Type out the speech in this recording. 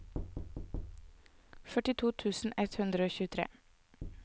førtito tusen ett hundre og tjuetre